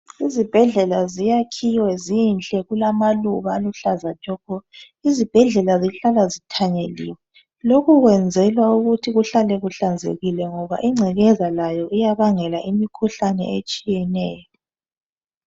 Izibhedlela ziyakhiwe zinhle kulamaluba aluhlaza tshoko. Izibhedlela zihlala zithanyeliwe lokhu kwenzela ukuthi kuhlale kuhlanzekile ngoba ingcekeza layo iyabangela imikhuhlane etshiyeneyo.